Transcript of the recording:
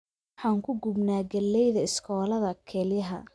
Waxaan ku gubnaa galleyda shooladda kelyaha